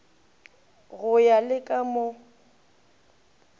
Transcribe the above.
go ya le ka mo